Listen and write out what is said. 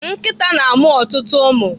Nkịta na-amụ ọtụtụ ụmụ.